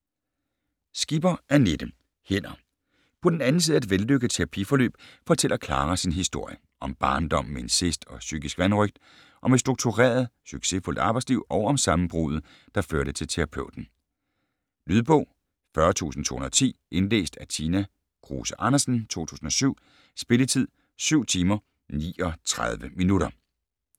Skipper, Annette: Hænder På den anden side af et vellykket terapiforløb fortæller Klara sin historie. Om barndommen med incest og psykisk vanrøgt, om et struktureret, succesfuldt arbejdsliv og om sammenbruddet, der førte til terapeuten. Lydbog 40210 Indlæst af Tina Kruse Andersen, 2007. Spilletid: 7 timer, 39 minutter.